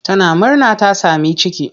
Tana murna ta sami ciki.